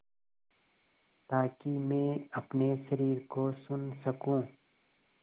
ताकि मैं अपने शरीर को सुन सकूँ